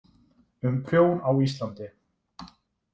Um prjón á Íslandi.